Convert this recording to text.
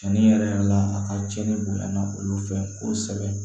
Cɛnni yɛrɛ la a ka cɛnni bonyana olu fɛ kosɛbɛ